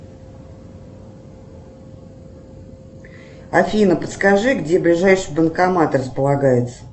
афина подскажи где ближайший банкомат располагается